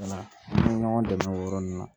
Wala an ye ɲɔgɔn dɛmɛ o yɔrɔ ninnu na